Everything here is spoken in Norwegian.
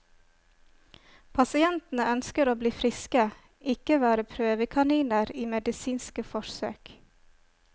Pasientene ønsker å bli friske, ikke være prøvekaniner i medisinske forsøk.